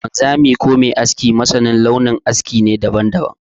Wanzami ko mai aski masanin launin aske ne daban-daban.